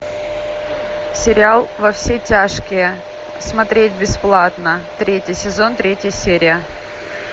сериал во все тяжкие смотреть бесплатно третий сезон третья серия